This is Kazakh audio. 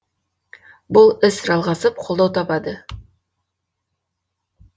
бұл іс жалғасып қолдау табады